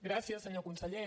gràcies senyor conseller